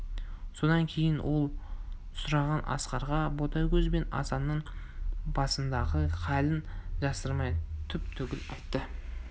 содан кейін ол сұраған асқарға ботагөз бен асанның басындағы халін жасырмай түп-түгел айтты